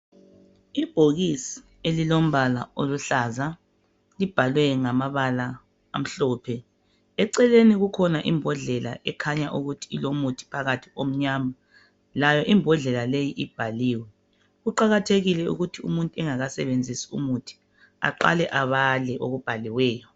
Ibhokisi elilombala oluhlaza libhalwe ngamabala amhlophe, eceleni kukhona imbodlela okukhanya ukuthi ulomuthi phakathi omnyama layo imbodlela leyi ibhaliwe , kuqakathekile ukuthi umuntu engakasebenzisi umuthi aqale abale okubhaliweyo.